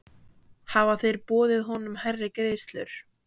Hafa þeir boðið honum hærri greiðslur?